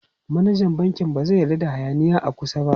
Manajan bankin ba zai yarda da hayaniya a kusa ba.